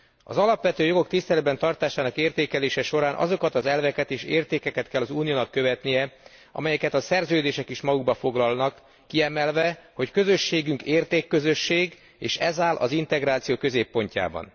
Az alapvető jogok tiszteletben tartásának értékelése során azokat az elveket és értékeket kell az Uniónak követnie, amelyeket a szerződések is magukba foglalnak, kiemelve, hogy közösségünk értékközösség, és ez áll az integráció középpontjában.